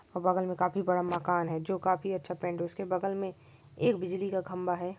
बगल में काफी बड़ा मकान है जो काफी अच्छा पेंट है उसके बगल में एक बिजली का खम्भा है।